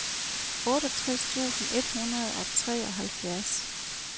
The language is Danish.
otteogtres tusind et hundrede og treoghalvfjerds